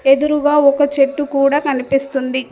ఎదురుగా ఒక చెట్టు కూడా కనిపిస్తుంది.